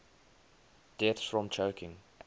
deaths from choking